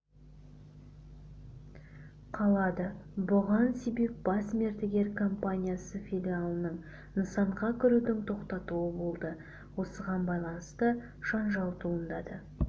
қалады бұған себеп бас мердігер компаниясы филиалының нысанға кірудің тоқтатуы болды осыған байланысты жанжал туындады